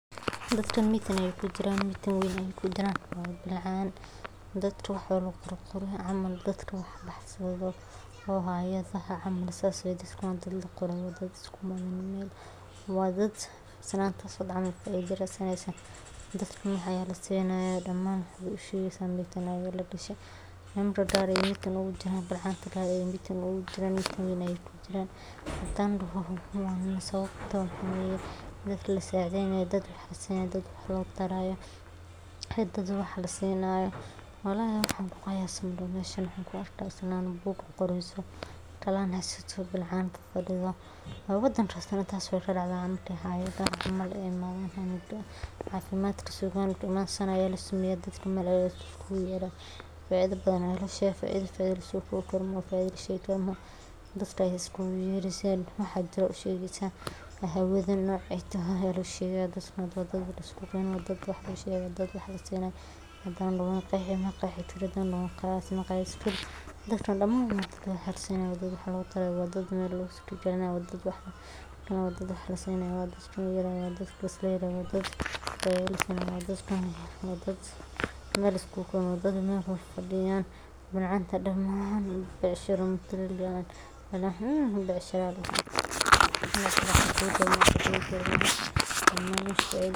Shirarka haweenku waa fursado muhiim ah oo ay dumarku isugu yimaadaan si ay uga wada hadlaan arrimo muhiim u ah noloshooda, sida horumarinta xirfadooda, kor u qaadidda doorkooda bulshada, xoojinta awood-siinta haweenka, iyo xal u helidda caqabadaha nololeed ee ay la kulmaan maalin kasta; inta lagu guda jiro shirarkan, waxaa lagu falanqeeyaa arrimo ay ka mid yihiin xuquuqda aadanaha, ka qeybqaadashada haweenka ee siyaasadda, waxbarashada gabdhaha, ka hortagga tacaddiyada jinsiga, horumarinta caafimaadka hooyada iyo dhallaanka, iyo sidii loo abuuri lahaa fursado dhaqaale oo waara.